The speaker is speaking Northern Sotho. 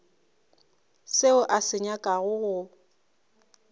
seo a se nyakago go